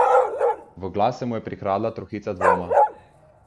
V glas se mu je prikradla trohica dvoma.